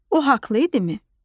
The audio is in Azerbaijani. O haqlı idimi?